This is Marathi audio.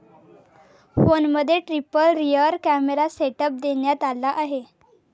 फोनमध्ये ट्रिपल रियर कॅमेरा सेटअप देण्यात आला आहे.